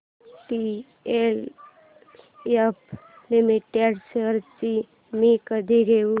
DLF limited shares मी कधी घेऊ